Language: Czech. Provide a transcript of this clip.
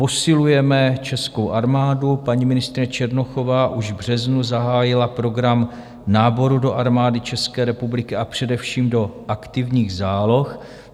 Posilujeme českou armádu, paní ministryně Černochová už v březnu zahájila program náboru do Armády České republiky, a především do aktivních záloh.